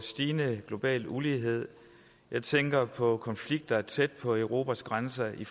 stigende global ulighed jeg tænker på konflikter tæt på europas grænser i